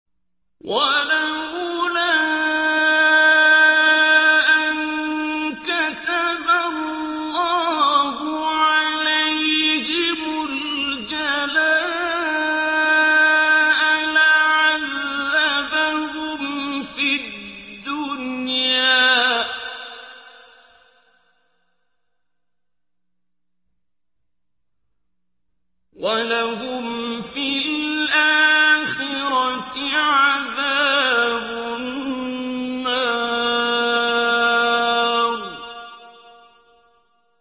وَلَوْلَا أَن كَتَبَ اللَّهُ عَلَيْهِمُ الْجَلَاءَ لَعَذَّبَهُمْ فِي الدُّنْيَا ۖ وَلَهُمْ فِي الْآخِرَةِ عَذَابُ النَّارِ